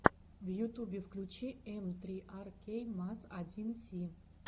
в ютубе включи эм три ар кей маз один си